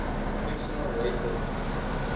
fictional rapists